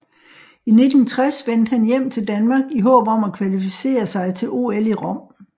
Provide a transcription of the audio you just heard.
I 1960 vendte han hjem till Danmark i håb om at kvalificere sig til OL i Rom